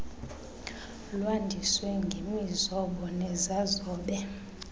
lwandiswe ngemizobo nezazobe